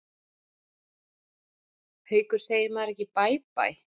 Haukur: Segir maður ekki bæ bæ?